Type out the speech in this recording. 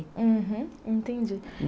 Uhum. Entendi.